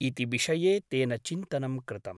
इति विषये तेन चिन्तनं कृतम् ।